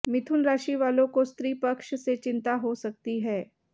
मिथुन राशि वालों को स्त्री पक्ष से चिंता हो सकती है